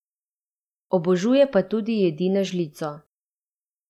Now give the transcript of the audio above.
Obožuje pa tudi jedi na žlico.